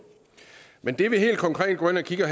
men det vi helt konkret går ind og kigger